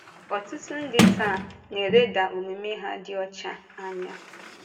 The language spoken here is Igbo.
Ọ̀tụtụ ndị taa na-elèda omume ha dị ọcha anya.